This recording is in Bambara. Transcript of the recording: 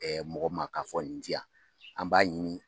mɔgɔ ma ka fɔ nin di yan an b'a ɲini